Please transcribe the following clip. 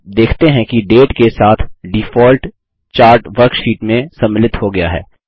आप देखते हैं कि डेट के साथ डिफ़ॉल्ट चार्ट वर्कशीट में सम्मिलित हो गया है